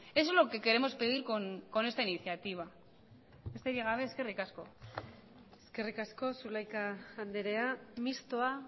eso es lo que queremos pedir con esta iniciativa besterik gabe eskerrik asko eskerrik asko zulaika andrea mistoa